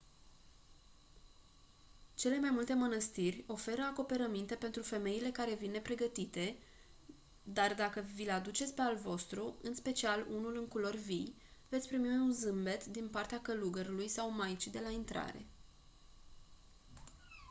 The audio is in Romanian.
cele mai multe mânăstiri oferă acoperăminte pentru femeile care vin nepregătite dar dacă vi-l aduceți pe al vostru în special unul în culori vii veți primi un zâmbet din partea călugărului sau maicii de la intrare